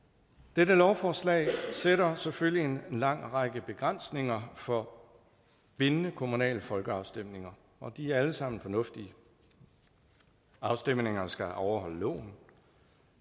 dette lovforslag sætter selvfølgelig en lang række begrænsninger for bindende kommunale folkeafstemninger og de er alle sammen fornuftige afstemningerne skal overholde loven